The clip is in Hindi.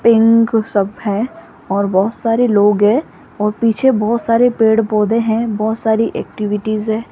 सब है और बहुत सारे लोग है और पीछे बहुत सारे पेड़ पौधे है बहुत सारे एक्टिविटीस है।